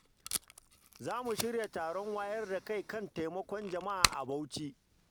Za mu shirya taron wayar da kai kan taimakon jama’a a Bauchi.